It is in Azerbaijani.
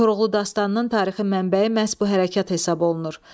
Koroğlu dastanının tarixi mənbəyi məhz bu hərəkət hesab olunur.